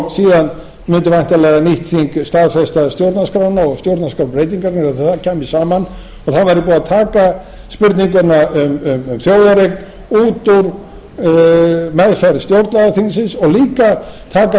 og síðan mundi væntanlega nýtt þing staðfesta stjórnarskrána og stjórnarskrárbreytingarnar þegar það kæmi saman og þá væri búið að taka spurninguna um þjóðareign út úr meðferð stjórnlagaþingsins og líka taka það